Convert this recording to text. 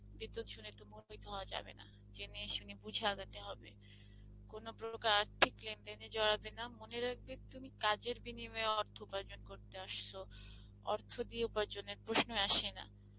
বেতন সুনে হাওয়া যাবে না জেনে সুনে বুঝে আগাতে হবে, কোনো প্রকার আর্থিক লেনদেন এ জড়াবে না, মনে রাখবে তুমি কাজের বিনিময় অর্থ উপার্জনের করতে অসছো, অর্থ দিয়ে উপার্জনের প্রশ্ন আসেনা